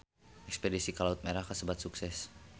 Espedisi ka Laut Merah kasebat sukses